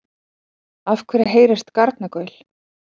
Af hverju heyrist garnagaul?